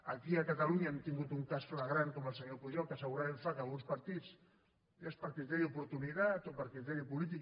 aquí a catalunya hem tingut un cas flagrant com el senyor pujol que segurament fa que alguns partits ja per criteri d’oportunitat o per criteri polític